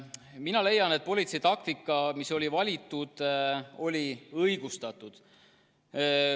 Mina leian, et politsei valitud taktika oli õigustatud.